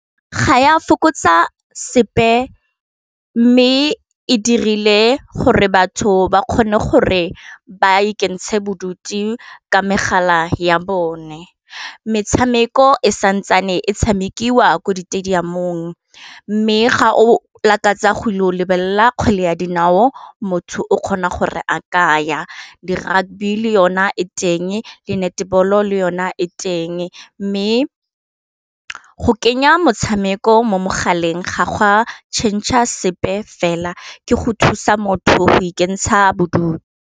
Ga ya fokotsa sepe mme e dirile gore batho ba kgone gore ba ikentsha bodutu ka megala ya bone, metshameko e santsane e tshamekiwa ko di stadium-ng, mme ga o lakatsa go ile go lebelela kgwele ya dinao motho o kgona gore a kaya le rugby le yona e teng, le netball-o le yona e teng, mme go kenya motshameko mo mogaleng ga gwa tšhentšhe a sepe fela ke go thusa motho go ikentsha bodutu.